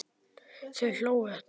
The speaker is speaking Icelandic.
Þau hlógu öll.